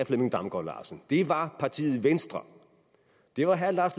flemming damgaard larsen det var partiet venstre det var herre lars